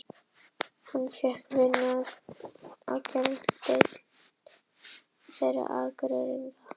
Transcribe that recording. Hann fékk vinnu á geðdeild þeirra Akureyringa og eitt herbergjanna varð hans.